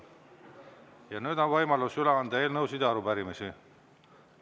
Ja nüüd on võimalus üle anda eelnõusid ja arupärimisi.